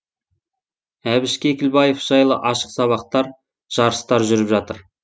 әбіш кекілбаев жайлы ашық сабақтар жарыстар жүріп жатыр